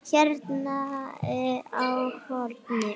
Hérna á hornið.